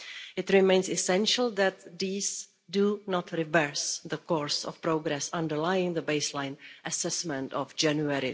It remains essential that these do not reverse the course of progress underlying the baseline assessment of January